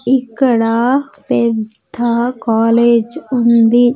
ఇక్కడ పెద్ద కాలేజ్ ఉంది.